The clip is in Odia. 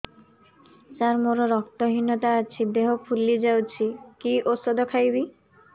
ସାର ମୋର ରକ୍ତ ହିନତା ଅଛି ଦେହ ଫୁଲି ଯାଉଛି କି ଓଷଦ ଖାଇବି